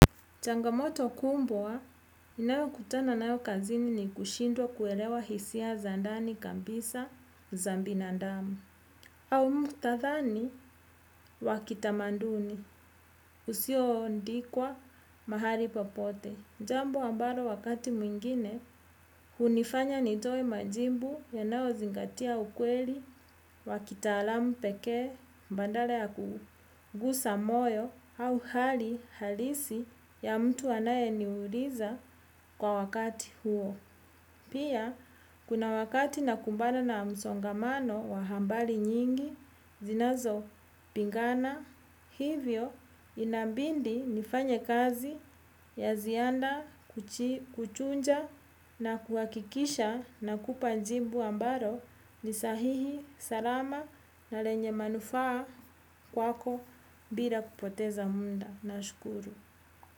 Changamoto kubwa ninayo kutana nayo kazini ni kushindwa kuelewa hisia za ndani kabisa za binadamu au muktadhani wa kitamaduni usio andikwa mahali popote. Jambo ambalo wakati mwingine hunifanya nitoe majibu yanayo zingatia ukweli wa kitalamu peke badala ya kugusa moyo au hali halisi ya mtu anaye niuliza kwa wakati huo. Pia kuna wakati nakumbana na msongamano wa habari nyingi zinazopigana hivyo inabidi nifanye kazi ya ziada kuchuja na kuhakikisha nakupa jibu ambalo ni sahihi salama na lenye manufaa kwako bila kupoteza muda nashukuru.